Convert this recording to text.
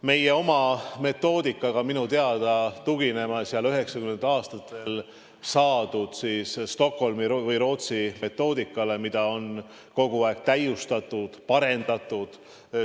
Meie oma metoodikaga minu teada tugineme üheksakümnendatel aastatel saadud Stockholmi või Rootsi metoodikale, mida on kogu aeg täiustatud ja parendatud.